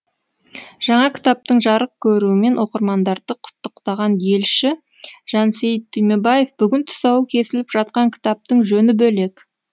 жаңа кітаптың жарық көруімен оқырмандарды құттықтаған елші жансейіт түймебаев бүгін тұсауы кесіліп жатқан кітаптың жөні бөлек